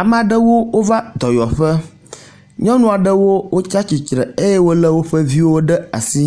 Ame aɖewo wova dɔyɔƒe, nyɔnu aɖewo wotsa tsitre eye wole woƒe viwo ɖe asi